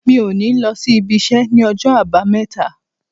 Mi ò ní lọ s'ibiṣẹ́ ní ọjọ́ Àbámẹ́ta.